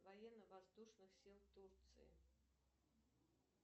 военно воздушных сил турции